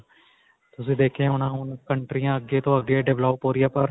ਤੁਸੀਂ ਦੇਖਿਆ ਹੋਣਾ ਕੰਟਰੀਆਂ ਅੱਗੇ ਤੋਂ ਅੱਗੇ develop ਹੋ ਰਹੀਆਂ ਨੇ ਪਰ